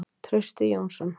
Trausti Jónsson.